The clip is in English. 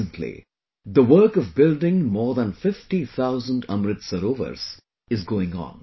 Presently, the work of building more than 50 thousand Amrit Sarovars is going on